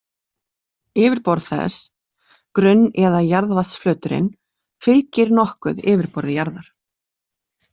Yfirborð þess, grunn- eða jarðvatnsflöturinn, fylgir nokkuð yfirborði jarðar.